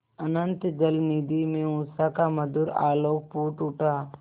अनंत जलनिधि में उषा का मधुर आलोक फूट उठा